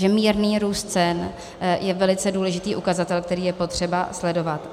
Že mírný růst cen je velice důležitý ukazatel, který je potřeba sledovat.